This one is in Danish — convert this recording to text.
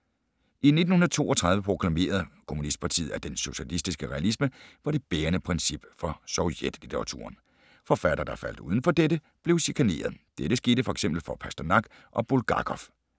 I 1932 proklamerede kommunistpartiet, at den socialistiske realisme var det bærende princip for sovjetlitteraturen. Forfattere, der faldt udenfor dette, blev chikanerede. Dette skete f.eks. for Pasternak og Bulgakov.